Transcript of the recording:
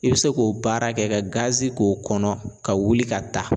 I be se k'o baara kɛ ka gazi k'o kɔnɔ ka wuli ka taa